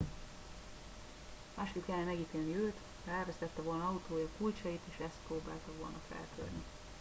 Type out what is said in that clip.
másképp kellene megítélni őt ha elvesztette volna autója kulcsait és azt próbálta volna feltörni